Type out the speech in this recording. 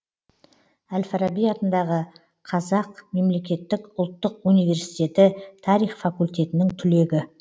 әл фараби атындағы қазақ мемлекеттік ұлттық университеті тарих факультетінің түлегі